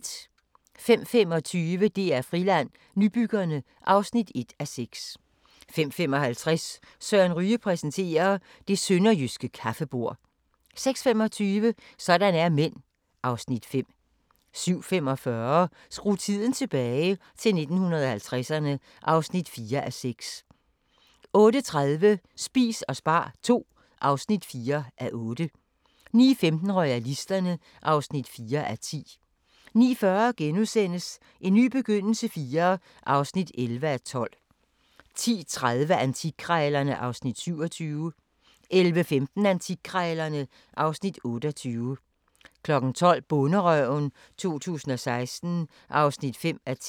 05:25: DR-Friland: Nybyggerne (1:6) 05:55: Søren Ryge præsenterer: Det sønderjyske kaffebord 06:25: Sådan er mænd (Afs. 5) 07:45: Skru tiden tilbage – til 1950'erne (4:6) 08:30: Spis og spar II (4:8) 09:15: Royalisterne (4:10) 09:40: En ny begyndelse IV (11:12)* 10:30: Antikkrejlerne (Afs. 27) 11:15: Antikkrejlerne (Afs. 28) 12:00: Bonderøven 2016 (5:10)